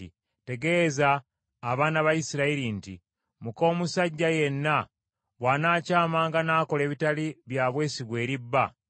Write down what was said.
“Tegeeza abaana ba Isirayiri nti, Muka omusajja yenna bw’anaakyamanga n’akola ebitali bya bwesigwa eri bba